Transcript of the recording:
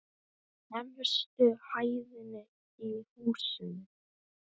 Efstu hæðinni í húsinu.